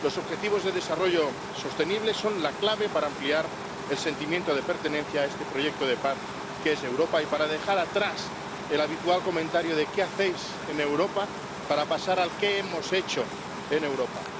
Los Objetivos de Desarrollo Sostenible son la clave para ampliar el sentimiento de pertenencia a este proyecto de paz que es Europa y para dejar atrás el habitual comentario de qué hacéis en Europa para pasar al de qué hemos hecho en Europa.